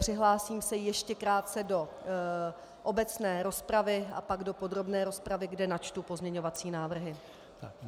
Přihlásím se ještě krátce do obecné rozpravy a pak do podrobné rozpravy, kde načtu pozměňovací návrhy.